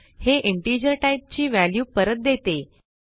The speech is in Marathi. हे इंटिजर टाईपची व्हॅल्यू परत देते